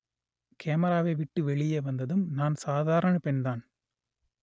கேமராவை விட்டு வெளியே வந்ததும் நான் சாதாரண பெண்தான்